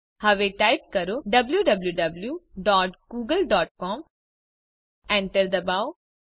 હવે ટાઇપ કરો W W W dot Google dot C O M Enter ડબાઓ